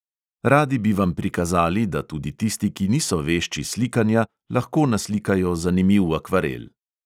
Radi bi vam prikazali, da tudi tisti, ki niso vešči slikanja, lahko naslikajo zanimiv akvarel.